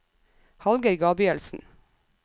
Hallgeir Gabrielsen